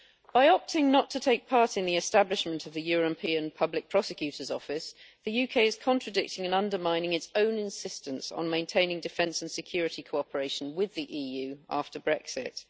By opting not to take part in the establishment of the European Public Prosecutor's Office, the UK is contradicting and undermining its own insistence on maintaining defence and security cooperation with the EU after Brexit.